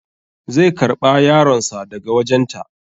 Zai karɓa yaron sa daga wajen ta